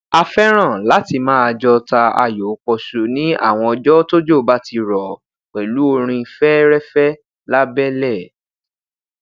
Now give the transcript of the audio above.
a fẹran lati maa jọ ta ayo pọsu ni awọn ọjọ tojo ba ti rọ pẹlu orin fẹẹrẹfẹ labẹlẹ